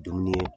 Dumuni